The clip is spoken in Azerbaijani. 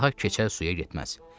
Daha keçər suya getməz.